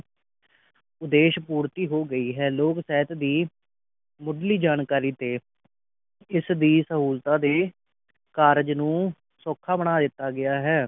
ਉਦੇਸ਼ ਪੂਰਤੀ ਹੋ ਗਈ ਹੈ ਲੋਕ ਸਹਿਤ ਦੀ ਮੁਢਲੀ ਜਾਣਕਾਰੀ ਤੇ ਇਸ ਦੀ ਸਹੂਲਤਾਂ ਤੇ ਕਾਰਜ ਨੂੰ ਸੌਖਾ ਬਨਾ ਦਿੱਤੋ ਗਿਆ ਹੈ